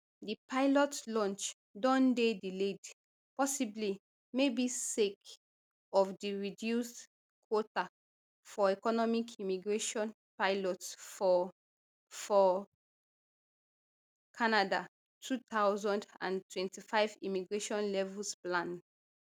di pilot launch don dey delayed possibly maybe sake of di reduced quota for economic immigration pilots for for canada two thousand and twenty-five immigration levels plan